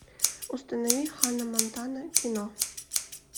установи ханна монтана кино